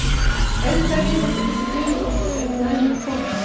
Hefði það lið átt að geta dugað okkur ef við næðum að koma